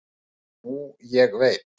og nú ég veit